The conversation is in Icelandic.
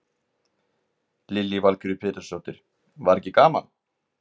Lillý Valgerður Pétursdóttir: Var ekki gaman?